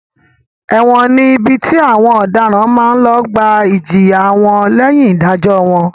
Ẹ̀wọ̀n ni ibi tí àwọn ọ̀daràn máa ń lọ gbà ìjìyà wọn lẹ́yìn ìdájọ́ wọn.